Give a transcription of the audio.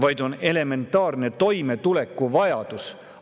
Seda on vaja elementaarseks toimetulekuks.